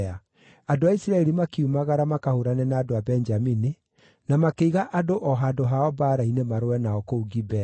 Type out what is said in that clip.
Andũ a Isiraeli makiumagara makahũũrane na andũ a Benjamini, na makĩiga andũ o handũ hao mbaara-inĩ marũe nao kũu Gibea.